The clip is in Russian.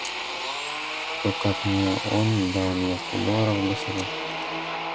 кто как не он дал мне сто долларов для сирот